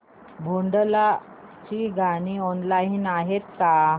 भोंडला ची गाणी ऑनलाइन आहेत का